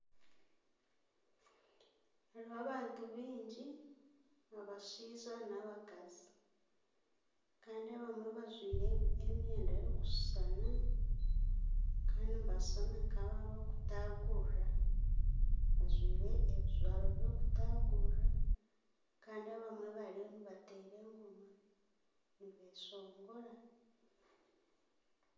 Hariho abantu baingi abashaija n'abakazi Kandi abamwe bajwaire emyenda erikusushana Kandi nibashushana nkabarikutagurira bajwaire ebijwaro by'okutagurira Kandi abamwe bariyo nibateera engoma nibeshongora